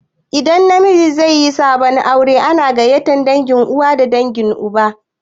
Idan miji zaiyi sabon aure ana gaiyatar dangin uwa da na uba